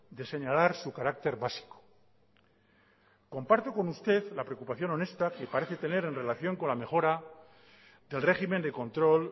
de señalar su carácter básico comparto con usted la preocupación honesta que parece tener en relación con la mejora del régimen de control